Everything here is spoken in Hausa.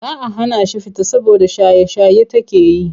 Za a hana shi fita saboda shaye-shaye take yi.